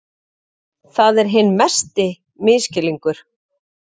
Það er hinn mesti misskilningur.